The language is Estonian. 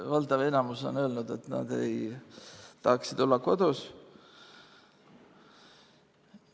Valdav enamus on öelnud, et nad tahaksid olla kodus.